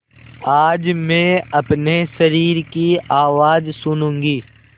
आज मैं अपने शरीर की आवाज़ सुनूँगी